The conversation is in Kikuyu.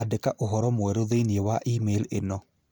Andĩka ũhoro mwerũ thĩinĩ wa e-mail ĩno